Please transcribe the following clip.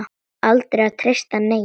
Aldrei að treysta neinum.